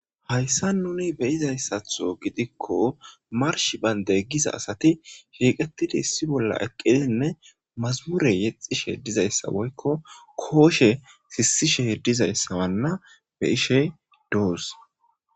Hayissan nuni be'izayisaththo giddikko marshshi bande Giza asati shiqetid issi bolla eqqidi nne mazumure yexishshe dizayissa woyikko koshshe sisishshe dizayisanne be'ishshe doos.